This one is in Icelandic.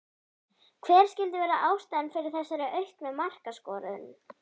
Hver skyldi vera ástæðan fyrir þessari auknu markaskorun?